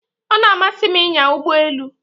O na-amasị m inya Ụgbọ elu